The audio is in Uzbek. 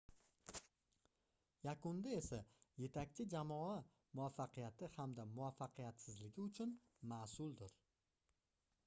yakunda esa yetakchi jamoa muvaffaqiyati hamda muvaffaqiyatsizligi uchun masʼuldir